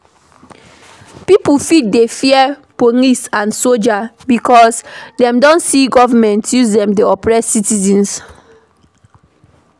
Pipo fit dey fear police and soldier because dem don see government use dem take oppress citizens